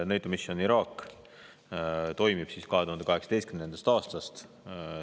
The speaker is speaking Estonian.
NATO Mission Iraq toimub 2018. aastast.